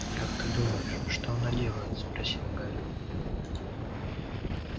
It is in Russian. как ты думаешь что оно делает спросил гарри